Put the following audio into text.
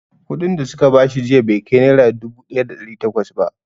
Kuɗin da su ka bashi jiya bai kai nera dubu ɗaya da ɗari takwas ba